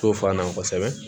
To f'an na kosɛbɛ